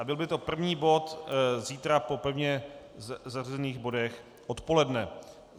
A byl by to první bod zítra po pevně zařazených bodech odpoledne.